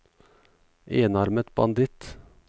enarmet banditt